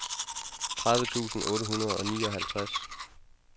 tredive tusind otte hundrede og nioghalvtreds